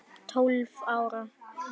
Tólf ára.